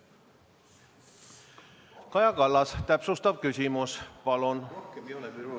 Kaja Kallas, täpsustav küsimus, palun!